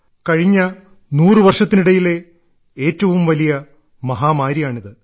കഴിഞ്ഞ നൂറു വർഷത്തിനിടയിലെ ഏറ്റവും വലിയ മഹാമാരിയാണിത്